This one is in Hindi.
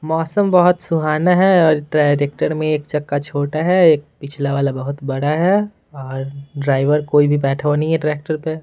मौसम बहोत सुहाना है और ट्राइरेक्टर में एक चक्का छोटा है एक पिछला वाला बहोत बड़ा है और ड्राइवर कोई भी बैठा हुआ नहीं है ट्रैक्टर पे।